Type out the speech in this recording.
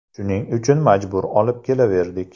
Shuning uchun majbur olib kelaverdik.